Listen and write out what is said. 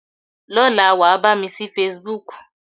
Lọ́la, wàá bá mi ṣí Facebook.